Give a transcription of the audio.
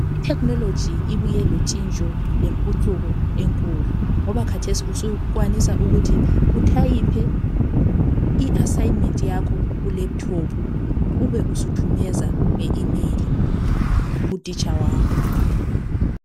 Ithekhinoloji ibuye lontshintsho lempucuko enkulu kakhulu ngoba kathesi susenelisa ukubhala umsebenzi wakho kulephuthophu uthumezele umbalisi wakho.